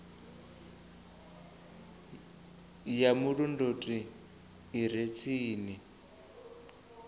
ya vhulondoti i re tsini